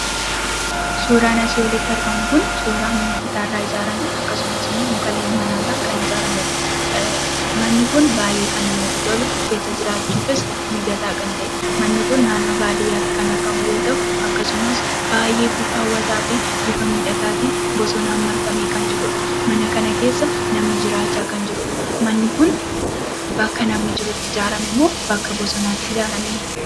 Suuraan asii olitti argamu kun, suuraa mana citaa irraa ijaarame, akkasumas immoo muka leemmanaa irraa kan ijaaramedha. Manni kun baayyee kan namatti tolu, keessa jiraachuufis mijataa kan ta'e, Manni kun naannoo baadiyyaatti kan argamu yoo ta'u, akkasumas baayyee bifa hawwataa fi bifa miidhagaatiin bosonaan marfamee kan jirudha. Mana kana keessa namni jiraachaa kan jirudha. Manni kun bakka namni jirutti ijaarame moo bakka bosonaatti ijaarame?